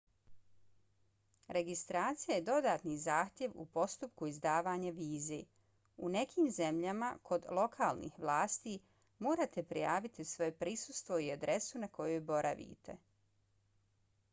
registracija je dodatni zahtjev u postupku izdavanja vize. u nekim zemljama kod lokalnih vlasti morate prijaviti svoje prisustvo i adresu na kojoj boravite